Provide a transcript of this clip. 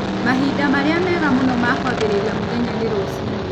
Mahinda marĩa mega mũno ma kwambĩrĩria mũthenya nĩ rũcinĩ.